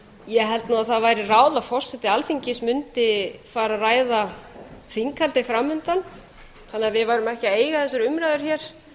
ég held að það væri ráð að forseti alþingis mundi fara að ræða þinghaldið fram undan þannig að við værum ekki að eiga þessar umræður hér